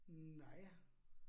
Nej